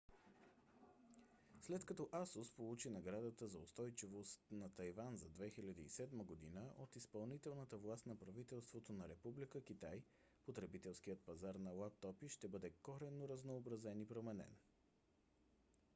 след като asus получи наградата за устойчивост на тайван за 2007 г. от изпълнителната власт на правителството на република китай потребителският пазар на лаптопи ще бъде коренно разнообразен и променен